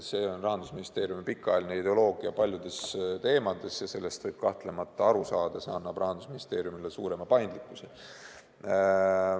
See on olnud Rahandusministeeriumi pikaajaline ideoloogia paljude teemade puhul ja sellest võib kahtlemata aru saada – see annab Rahandusministeeriumile suurema paindlikkuse.